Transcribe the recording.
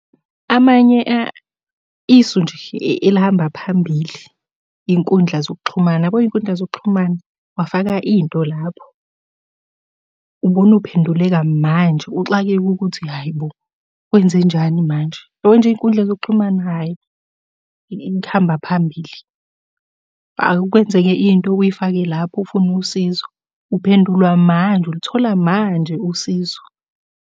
Amanye , isu nje elihamba phambili, iy'nkundla zokuxhumana yabo iy'nkundla zokuxhumana, wafaka into lapho ubona uphenduleka manje uxakeke ukuthi hhayi bo kwenzenjani manje? Yabo nje iy'nkundla zokuxhumana, hhayi ihamba phambili. Ake kwenzeke into uyifake lapho ufune usizo, uphendulwa manje, uluthola manje usizo.